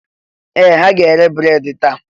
Ee! Ha ga-ere breedị taa.